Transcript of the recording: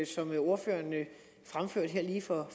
som ordføreren fremførte her lige for